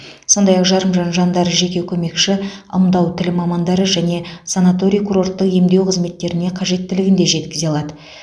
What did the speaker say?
сондай ақ жарымжан жандар жеке көмекші ымдау тілі мамандары және санаторий курорттық емдеу қызметтеріне қажеттілігін де жеткізе алады